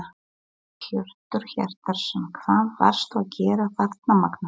Hjörtur Hjartarson: Hvað varstu að gera þarna Magnús?